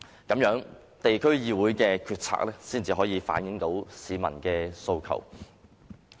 這樣，地區議會的決策才能反映市民訴求。